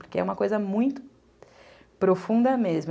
Porque é uma coisa muito profunda mesmo.